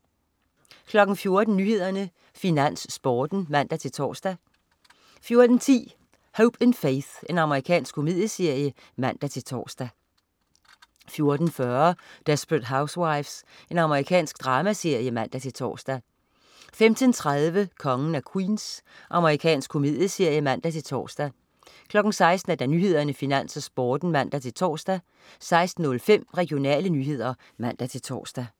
14.00 Nyhederne, Finans, Sporten (man-tors) 14.10 Hope & Faith. Amerikansk komedieserie (man-tors) 14.40 Desperate Housewives. Amerikansk dramaserie (man-tors) 15.30 Kongen af Queens. Amerikansk komedieserie (man-tors) 16.00 Nyhederne, Finans, Sporten (man-tors) 16.05 Regionale nyheder (man-tors)